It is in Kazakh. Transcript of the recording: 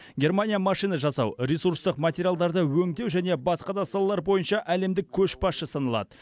германия машина жасау ресурстық материалдарды өңдеу және басқа да салалар бойынша әлемдік көшбасшы саналады